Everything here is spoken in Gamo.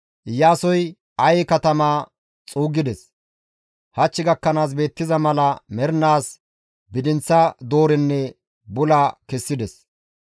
Iyaasoy Aye katamaa xuuggides; hach gakkanaas beettiza mala mernaas bidinththa doorenne bula kessides.